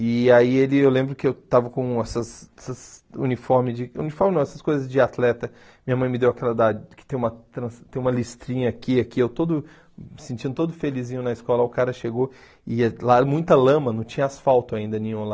E aí ele eu lembro que eu estava com essas essas uniforme de, uniforme não, essas coisas de atleta, minha mãe me deu aquela da, que tem uma tran tem uma listrinha aqui e aqui, eu todo sentindo todo felizinho na escola, o cara chegou e lá era muita lama, não tinha asfalto ainda nenhum lá.